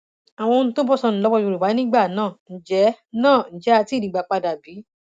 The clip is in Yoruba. àwọn ohun tó bọ sọnù lọwọ yorùbá nígbà náà ǹjẹ náà ǹjẹ á ti í rí i gbà padà bí